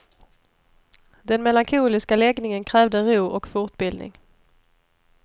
Den melankoliska läggningen krävde ro och fortbildning.